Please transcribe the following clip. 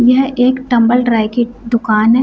यह एक tumble dry की दुकान है।